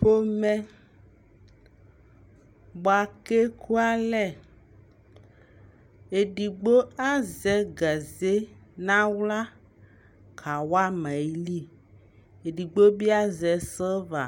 pɔmɛ bʋakʋ ɛkʋalɛ ɛdigbɔ azɛ gazɛ nʋ ala kawama ayili, ɛdigbɔ bi azɛ Silva